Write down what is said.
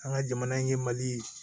An ka jamana ɲɛmali